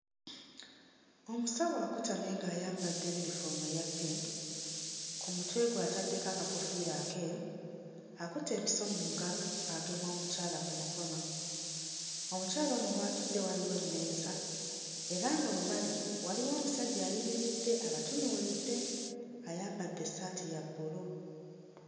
Omusawo akutamye ng'ayambadde uniform eya pink, ku mutwe gwe ataddeko akakoofiira akeeru, akutte empiso mu ngalo agema omukyala ku mukono. Omukyala ono w'atudde waliwo emmeeza, era nga we bali waliwo omusajja ayimiridde abatunuulidde. Ayambadde essaati ya bbulu.